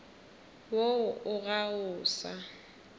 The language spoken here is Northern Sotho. woo o ga o sa